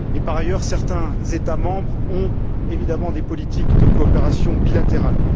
Et, par ailleurs, certains États membres ont évidemment des politiques de coopération bilatérales.